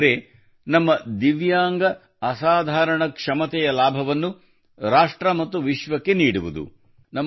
ಅದೆಂದರೆ ನಮ್ಮ ದಿವ್ಯಾಂಗ ಅಸಾಧಾರಣ ಕ್ಷಮತೆಯ ಲಾಭವನ್ನು ರಾಷ್ಟ್ರ ಮತ್ತು ವಿಶ್ವಕ್ಕೆ ನೀಡುವುದು